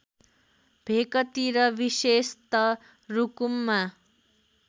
भेकतिर विशेषत रुकुममा